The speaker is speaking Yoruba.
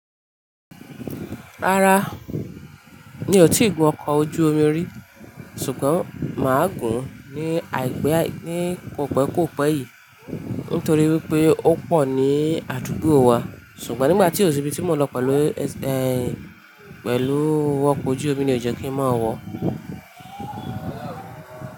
Rárá, mi ò tíì gun ọkọ̀ ojú omi rí, ṣùgbọ́n mà á gun ní àìpé ní kò pẹ́ kò pẹ́ yìí nítorí wípé ó pọ̀ ní àdúgbò wa, ṣùgbọ́n nígbà tí ò síbi tí mò lọ pẹ̀lú, ẹ́ n, pẹ̀lú ọkọ̀ ojú omi ni ò jẹ́ kí ń má wọ̀